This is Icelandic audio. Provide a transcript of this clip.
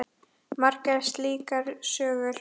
Margar slíkar sögur.